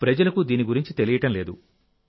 ప్రజలకు దీని గురించి తెలియడం లేదు